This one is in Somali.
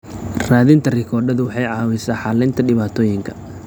Raadinta rikoodhadu waxay caawisaa xallinta dhibaatooyinka.